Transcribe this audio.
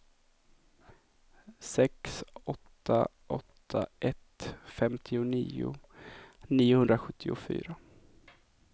sex åtta åtta ett femtionio niohundrasjuttiofyra